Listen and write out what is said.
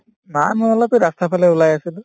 নাই মই অলপ ৰাস্তাৰফালে ওলাই আহিছিলো